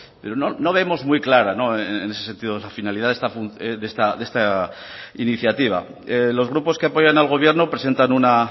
pero no vemos muy clara en ese sentido la finalidad de esta iniciativa los grupos que apoyan al gobierno presentan una